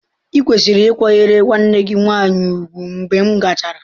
Ịkwesịrị ịkwanyere nwanne gị nwanyị ùgwù mgbe m gachara.